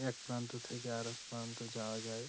একপ্রান্ত থেকে আর এক প্রান্ত যাওয়া যায়।